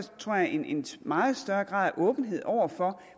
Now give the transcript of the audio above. tror jeg at en meget større grad af åbenhed over for